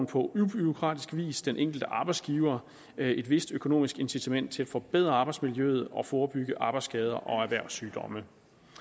på ubureaukratisk vis den enkelte arbejdsgiver et vist økonomisk incitament til at forbedre arbejdsmiljøet og forebygge arbejdsskader og erhvervssygdomme